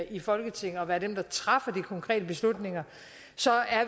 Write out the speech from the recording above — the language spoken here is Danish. i folketinget og være dem der træffer de konkrete beslutninger så er